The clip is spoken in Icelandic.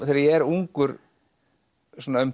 þegar ég er ungur svona um